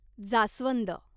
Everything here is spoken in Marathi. जास्वंद